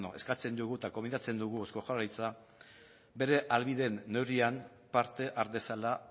eskatzen diogu eta gonbidatzen dugu eusko jaurlaritza bere ahalbideen neurrian parte har dezala